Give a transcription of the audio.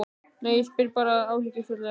Nei, ég spyr þig bara sem áhyggjufullur faðir.